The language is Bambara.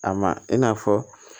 A ma i n'a fɔ